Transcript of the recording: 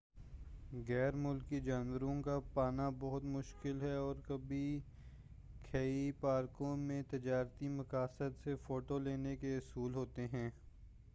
غیر ملکی جانوروں کا پانا بہت مشکل ہے اور کبھی کھی پارکوں میں تجارتی مقاصد سے فوٹو لینے کے اصول ہوتے ہیں